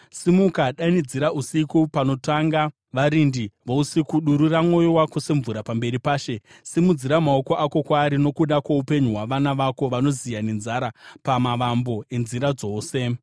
Simuka, danidzira usiku, panotanga varindi vousiku; durura mwoyo wako semvura pamberi paShe. Simudzira maoko ako kwaari nokuda kwoupenyu hwavana vako, vanoziya nenzara pamavambo enzira dzose.